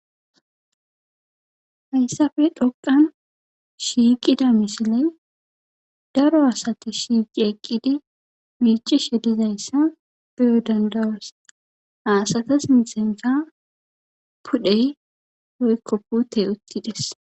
Hayssafe dhoqan shiiqida misiley daro asati shiiqi eqqide miichishe dizayssa beyo dandawas aasatas mixenfa pudhey hoykko putey uttides